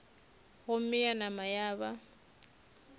gomme ya nama ya ba